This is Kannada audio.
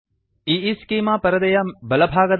ಈಸ್ಚೆಮಾ ಈಈಸ್ಕೀಮಾ ಪರದೆಯ ಬಲಭಾಗದ ಪಾನಲ್ ಗೆ ಹೋಗಿ